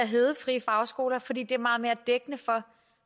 at hedde frie fagskoler fordi det er meget mere dækkende for